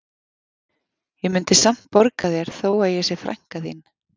Ég mundi samt borga þér þó að ég sé frænka þín